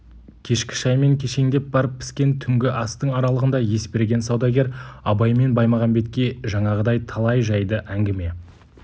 кешкі шай мен кешеңдеп барып піскен түнгі астың аралығында есберген саудагер абай мен баймағамбетке жаңағыдай талай жайды әңгіме